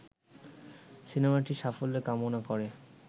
সিনেমাটির সাফল্য কামনা করে